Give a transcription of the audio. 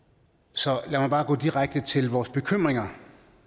så lad mig bare gå direkte til vores bekymringer